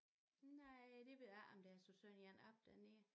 Nej det ved jeg ikke om de har sat sådan en op dernede